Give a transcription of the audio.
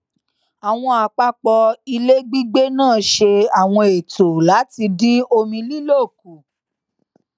àwọn àpapọ ilé gbígbé náà ṣe àwọn ètò láti dín omi lílò kù